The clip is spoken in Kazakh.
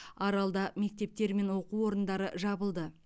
аралда мектептер мен оқу орындары жабылды